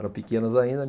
Eram pequenas ainda.